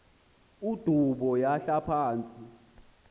udubo yahla phantsi